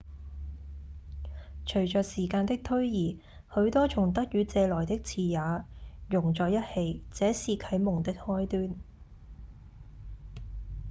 隨著時間的推移許多從德語借來的詞也融在一起這是啟蒙的開端